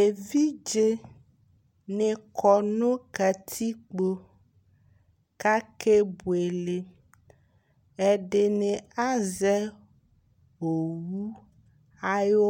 Evɩdze nɩ kɔ nʋ katɩkpo kakebʋele Ɛdɩnɩ azɛ owʋ ayʋ